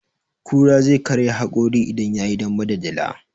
Kura zai karya haƙori idan yayi dambe da dila.